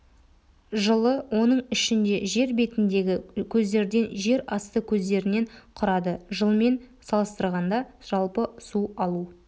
жылы оның ішінде жер бетіндегі көздерден жер асты көздерінен құрады жылмен салыстырғанда жалпы су алу